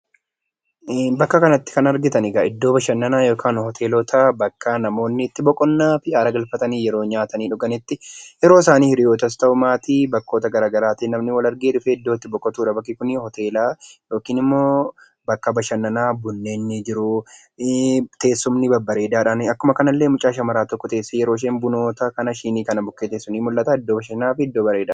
Iddoo kanatti kan argitan egaa bakka bashannanaa yookaan hotel bakka namoonni boqonnaa fi aara galfatanii yeroo nyaatanii dhuganitti ueroo isaanii hiriyyootas ta'u maatii iddootti namni wal argee iddootti boqotudha bakki kuni hoteela. Yookaan immoo bakka babbareedaa bunni jiru, teessumni babbareedaa akkasumas immoo mucaan shamaraa tokko ueroo ishee bumaa fi shiinoota kana bira teessu ni mul'ata. Iddoo bareedaadha.